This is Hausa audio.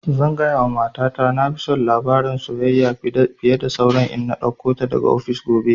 Zan gaya wa mata ta na fi son labarin soyayya fiye da saura in na ɗauko ta daga ofis gobe